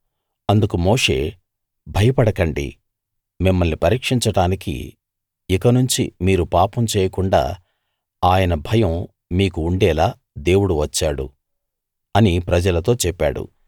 అందుకు మోషే భయపడకండి మిమ్మల్ని పరీక్షించడానికి ఇక నుంచి మీరు పాపం చేయకుండా ఆయన భయం మీకు ఉండేలా దేవుడు వచ్చాడు అని ప్రజలతో చెప్పాడు